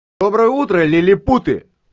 доброе утро лилипуты